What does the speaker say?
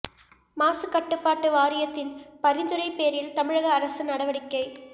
மாசு கட்டுப்பாட்டு வாரியத்தின் பரிந்துரை பேரில் தமிழக அரசு நடவடிக்கை